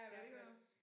Ja det gør jeg også